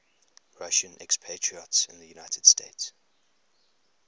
russian expatriates in the united states